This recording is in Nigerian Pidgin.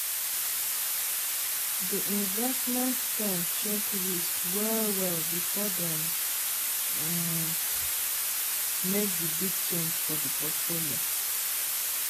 di investment firm check risk well-well before dem um make di big change for di portfolio